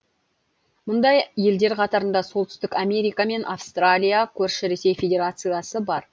мұндай елдер қатарында солтүстік америка мен австралия көрші ресей федерациясы бар